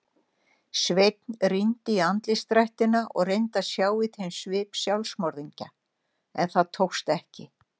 Sveinn rýndi í andlitsdrættina og reyndi að sjá í þeim svip sjálfsmorðingja- en tókst ekki.